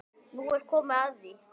Nú er komið að því.